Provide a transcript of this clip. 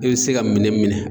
I bi se ka minɛn minɛ